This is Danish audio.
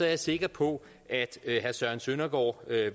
jeg sikker på at herre søren søndergaard